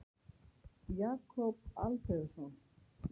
Jakob Alfeusson.